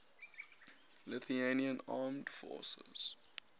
lithuanian armed forces